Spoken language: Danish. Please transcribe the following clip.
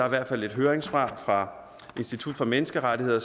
i hvert fald et høringssvar fra institut for menneskerettigheder